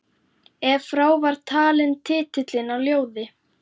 Ef frá var talinn titillinn á ljóði